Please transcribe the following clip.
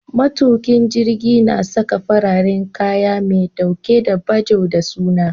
Matukin jirgi na Saka fararen kaya me ɗauke da bajo da suna